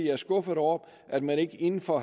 er skuffet over at man inden for